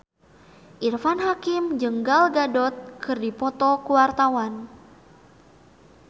Irfan Hakim jeung Gal Gadot keur dipoto ku wartawan